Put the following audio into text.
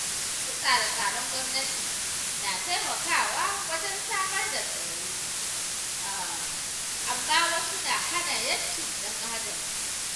Wasu tsare-tsaren gwamnati na taimakawa wajen samar da tsaro, amma wasu na hana ‘yancin ɗan Adam.